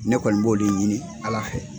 Ne kɔni b'o de ɲini ala fɛ.